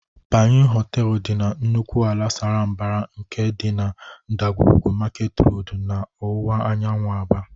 Panyụ Họteelụ dị na nnukwu ala sara mbara nke dị na ndagwurugwu Market Road n'ọwụwa anyanwụ Aba.